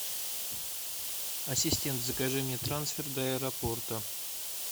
ассистент закажи мне трансфер до аэропорта